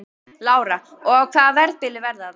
Lára: Og á hvaða verðbili verða þær?